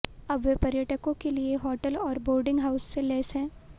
अब वे पर्यटकों के लिए होटल और बोर्डिंग हाउस से लैस हैं